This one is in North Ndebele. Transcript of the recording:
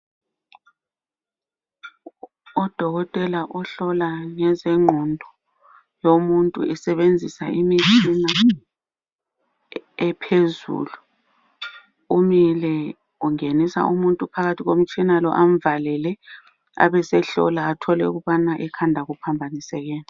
Udokotela uhlola ngezengqondo, lomuntu esebenzisa imitshina ephezulu. Umile ungenisa umuntu phakathi komtshina amvalele, abesehlola athole ukubana ekhanda kuphambanisekeni.